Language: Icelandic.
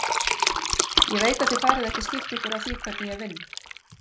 Ég veit að þið farið ekki að skipta ykkur af því hvernig ég vinn.